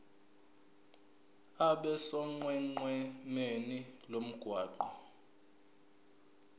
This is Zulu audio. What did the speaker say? abe sonqenqemeni lomgwaqo